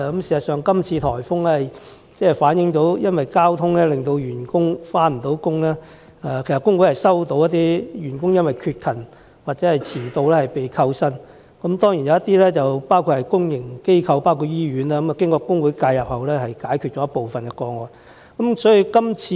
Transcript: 事實上，今次颱風引致的交通阻塞，令一些員工無法上班，而工會已接獲一些員工因缺勤或遲到而被扣減薪酬的個案，當中當然包括公營機構及醫院等的員工，經工會介入後，部分個案已成功處理。